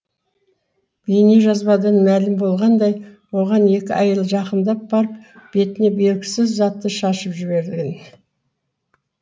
бейнежазбадан мәлім болғандай оған екі әйел жақындап барып бетіне белгісіз затты шашып жіберген